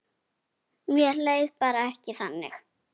Mér leið bara ekki þannig.